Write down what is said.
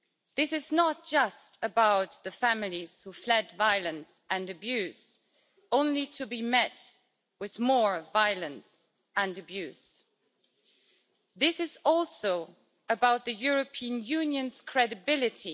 This is not just about the families who fled violence and abuse, only to be met with more violence and abuse this is also about the European Union's credibility.